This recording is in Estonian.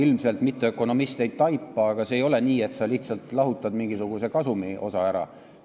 Seda mitteökonomist ilmselt ei taipa, aga ei ole nii, et sa lihtsalt lahutad mingisuguse kasumiosa ära.